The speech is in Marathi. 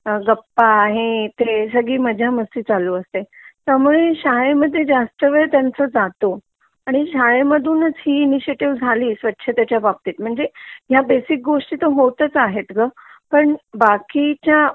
गप्पाहे ते सगळी मजा मस्ती चालू असते त्यामुळे शाळे मध्ये जास्त वेळ त्यांचा जातो आणि शाळेमधूनच ही इणीशीयटीव झाली स्वच्छतेच्या बाबतीत म्हणजे ह्या बेसिक गोष्टी होताच आहेत ग पण बाकी च्या